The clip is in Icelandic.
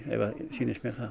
sýnist mér